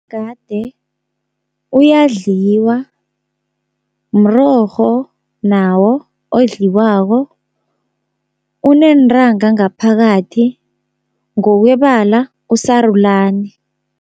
Umgade uyadliwa, mrorho nawo odliwako, uneentanga ngaphakathi ngokwebala usarulani.